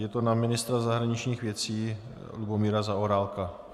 Je to na ministra zahraničních věcí Lubomíra Zaorálka.